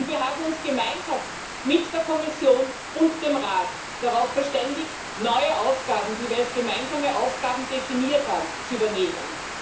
Und wir haben uns gemeinsam mit der Kommission und dem Rat darauf verständigt, neue Aufgaben, die wir als gemeinsame Aufgaben definiert haben, zu übernehmen.